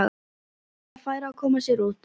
Lilja færi að koma sér út.